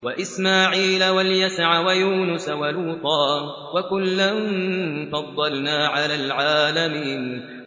وَإِسْمَاعِيلَ وَالْيَسَعَ وَيُونُسَ وَلُوطًا ۚ وَكُلًّا فَضَّلْنَا عَلَى الْعَالَمِينَ